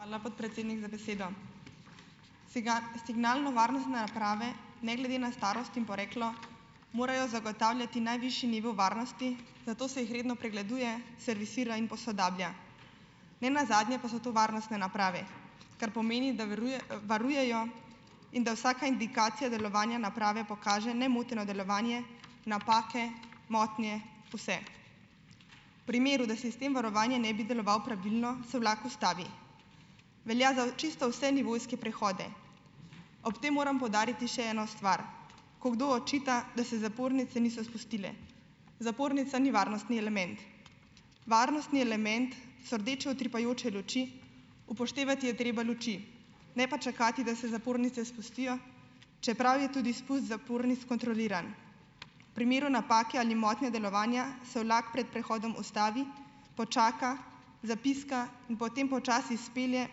Hvala, podpredsednik, za besedo. signalnovarnostne naprave ne glede na starost in poreklo morajo zagotavljati najvišji nivo varnosti, zato se jih redno pregleduje, servisira in posodablja. Nenazadnje pa so to varnostne naprave, kar pomeni, da varujejo in da vsaka indikacija delovanja naprave pokaže nemoteno delovanje, napake, motnje, vse. V primeru, da sistem varovanja ne bi deloval pravilno, se vlak ustavi, velja za čisto vse nivojske prehode. Ob tem moram poudariti še eno stvar, ko kdo očita, da se zapornice niso spustile, zapornica ni varnostni element. Varnostni element so rdeče utripajoče luči, upoštevati je treba luči, ne pa čakati, da se zapornice spustijo, čeprav je tudi spust zapornic kontroliran. V primeru napake ali motnje delovanja se vlak pred prehodom ustavi, počaka, zapiska in potem počasi spelje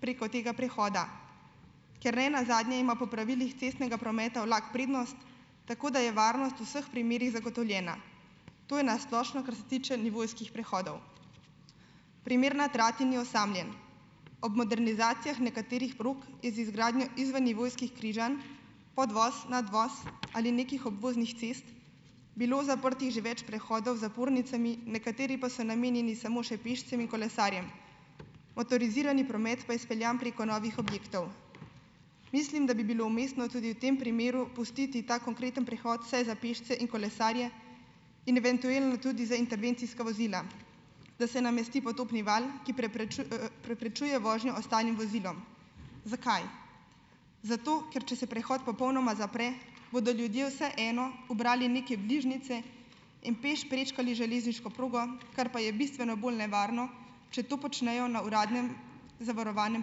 preko tega prehoda, ker nenazadnje ima po pravilih cestnega prometa vlak prednost, tako da je varnost v vseh primerih zagotovljena. To je na splošno, kar se tiče nivojskih prehodov. Primer na Trati ni osamljen. Ob modernizacijah nekaterih prog z izgradnjo izvennivojskih križanj, podvoz, nadvoz, ali nekih obvoznih cest bilo zaprtih že več prehodov z zapornicami, nekateri pa so namenjeni samo še pešcem in kolesarjem, motorizirani promet pa je speljan preko novih objektov. Mislim, da bi bilo umestno tudi v tem primeru pustiti ta konkreten prehod vsaj za pešce in kolesarje, in eventuelno tudi za intervencijska vozila, da se namesti potopni val, ki preprečuje vožnjo ostalim vozilom. Zakaj? Zato, ker če se prehod popolnoma zapre, bodo ljudje vseeno ubrali neke bližnjice in peš prečkali železniško progo, kar pa je bistveno bolj nevarno, če to počnejo na uradnem zavarovanem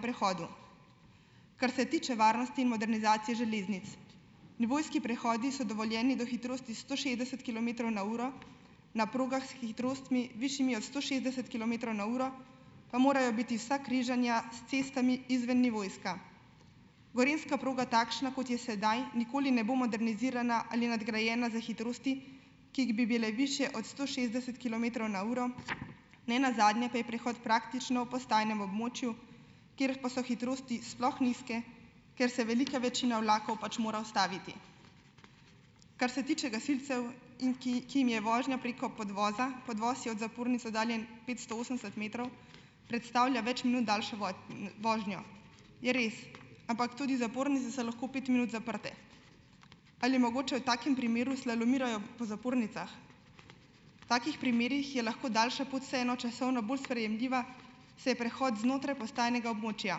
prehodu. Kar se tiče varnosti in modernizacije železnic, nivojski prehodi so dovoljeni do hitrosti sto šestdeset kilometrov na uro na progah s hitrostmi, višjimi od sto šestdeset kilometrov na uro, pa morajo biti vsa križanja s cestami izvennivojska. Gorenjska proga takšna, kot je sedaj, nikoli ne bo modernizirana ali nadgrajena za hitrosti, ki jih bi bile višje od sto šestdeset kilometrov na uro, ne nazadnje pa je prehod praktično v postajnem območju, kjer pa so hitrosti sploh nizke, ker se velika večina vlakov pač mora ustaviti. Kar se tiče gasilcev, in ki jim je vožnja preko podvoza, podvoz je od zapornice oddaljen petsto osemdeset metrov, predstavlja več minut daljšo vožnjo, je res, ampak tudi zapornice so lahko pet minut zaprte. Ali je mogoče, v takem primeru slalomirajo po zapornicah? V takih primerih je lahko daljša pot vseeno časovno bolj sprejemljiva, saj je prehod znotraj postajnega območja.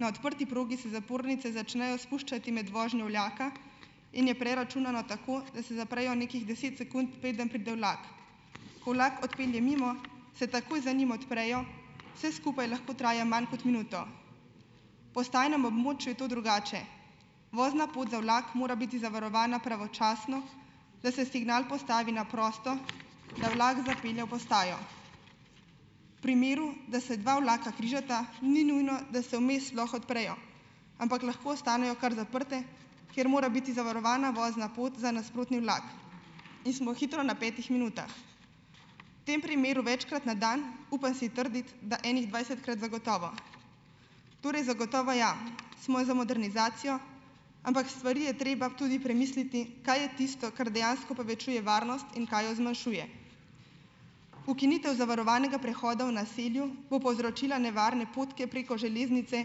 Na odprti progi se zapornice začnejo spuščati med vožnjo vlaka in je preračunano tako, da se zaprejo nekih deset sekund, preden pride vlak. Ko vlak odpelje mimo, se takoj za njim odprejo, vse skupaj lahko traja manj kot minuto. V postajnem območju je to drugače. Vozna pot za vlak mora biti zavarovana pravočasno, da se signal postavi na prosto, da vlak zapelje v postajo. V primeru, da se dva vlaka križata, ni nujno, da se vmes sploh odprejo, ampak lahko ostanejo kar zaprte, kjer mora biti zavarovana vozna pot za nasprotni vlak. In smo hitro na petih minutah. V tem primeru večkrat na dan, upam si trditi, da ene dvajsetkrat zagotovo. Torej zagotovo ja, smo za modernizacijo, ampak stvari je treba tudi premisliti, kaj je tisto, kar dejansko povečuje varnost in kaj jo zmanjšuje. Ukinitev zavarovanega prehoda v naselju bo povzročila nevarna potke preko železnice,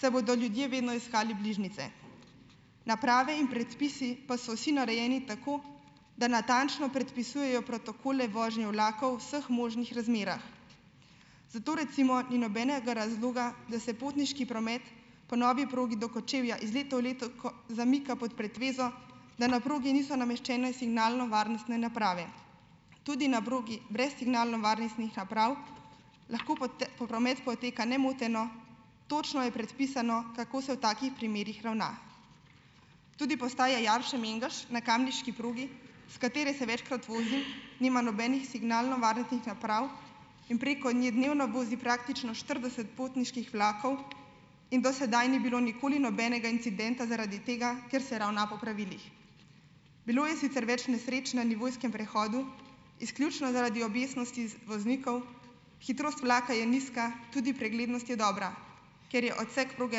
saj bodo ljudje vedno iskali bližnjice. Naprave in predpisi pa so vsi narejeni tako, da natančno predpisujejo protokole vožnje vlakov v vseh možnih razmerah. Zato recimo ni nobenega razloga, da se potniški promet po novi progi do Kočevja iz leta v leto zamika pod pretvezo, da na progi niso nameščene signalnovarnostne naprave. Tudi na progi brez signalnovarnostnih naprav lahko promet poteka nemoteno, točno je predpisano, kako se v takih primerih ravna. Tudi postaja Jarše-Mengeš na kamniški progi, s katere se večkrat vozim, nima nobenih signalnovarnostnih naprav in preko ne dnevno vozi praktično štirideset potniških vlakov in do sedaj ni bilo nikoli nobenega incidenta zaradi tega, ker se ravna po pravilih. Bilo je sicer več nesreč na nivojskem prehodu, izključno zaradi objestnosti voznikov, hitrost vlaka je nizka, tudi preglednost je dobra. Ker je odsek proge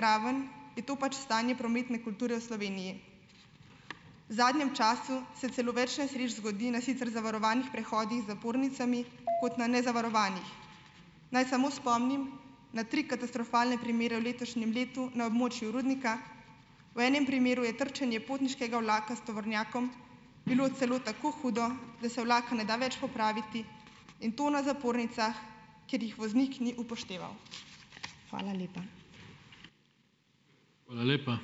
raven, je to pač stanje prometne kulture v Sloveniji. V zadnjem času se celo več nesreč zgodi na sicer zavarovanih prehodih z zapornicami kot na nezavarovanih. Naj samo spomnim na tri katastrofalne primere v letošnjem letu na območju Rudnika. V enem primeru je trčenje potniškega vlaka s tovornjakom bilo celo tako hudo, da se vlak ne da več popraviti, in to na zapornicah, ker jih voznik ni upošteval. Hvala lepa.